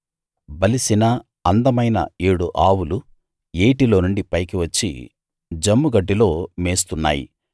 బలిసిన అందమైన ఏడు ఆవులు ఏటిలోనుండి పైకివచ్చి జమ్ముగడ్డిలో మేస్తున్నాయి